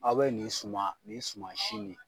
Aw bɛ nin suma nin suma si nin